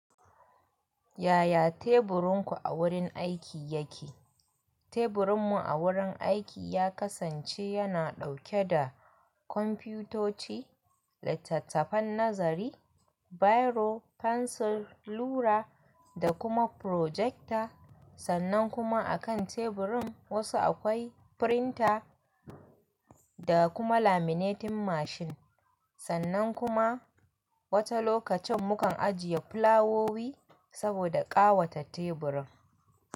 Yaya teburinku a wurin aiki yake? Teburinmu a wurin aiki ya kasance yana ɗauke da kwamfutoci, littattafan nazari, biro, fensir, rula da kuma frojekta. Sannan kuma a kan teburin wasu akwai frinta da kuma laminating mashin. Sannan kuma wata lokacin mukan ajiye fulawowi saboda ƙawata teburin.